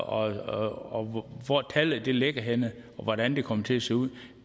og hvor tallet ligger henne og hvordan det kommer til at se ud